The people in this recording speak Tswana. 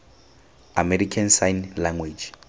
american sign language